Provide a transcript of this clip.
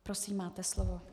Prosím, máte slovo.